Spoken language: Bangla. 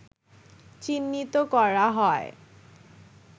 চিহ্নিত করা হয়